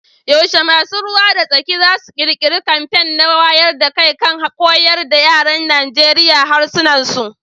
Yaushe masu ruwa da tsaki za su kirkiri kamfen na wayar da kai kan koyar da yaran Najeriya harsunan Nigeriya